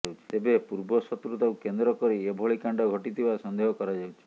ତେବେ ପୂର୍ବ ଶତ୍ରୁତାକୁ କେନ୍ଦ୍ର କରି ଏଭଳି କଣ୍ଡା ଘଟିଥିବା ସନ୍ଦେହ କରାଯାଉଛି